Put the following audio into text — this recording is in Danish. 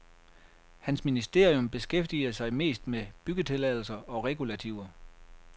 Hans ministerium beskæftiger sig mest med byggetilladelser og regulativer.